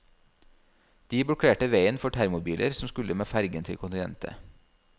De blokkerte veien for termobiler som skulle med fergen til kontinentet.